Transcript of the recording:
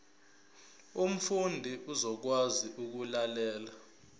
umfundi uzokwazi ukulalela